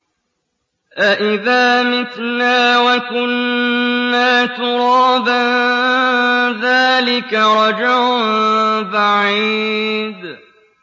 أَإِذَا مِتْنَا وَكُنَّا تُرَابًا ۖ ذَٰلِكَ رَجْعٌ بَعِيدٌ